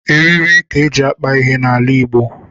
Eriri ka eji akpa ihe n'ala Igbo